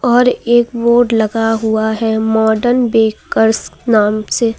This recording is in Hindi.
और एक बोर्ड लगा हुआ है मॉडर्न बेकर्स नाम से।